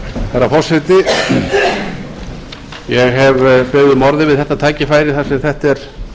herra forseti ég hef beðið um orðið við þetta tækifæri þar sem þetta er